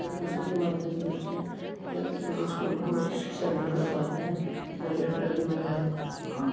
बसों के माध्यम से बच्चे जल्द से जल्द स्कूल पहुँच कर शिक्षा ग्रहण कर पाते है और ये ट्रैवलिंग में हेल्प करती है।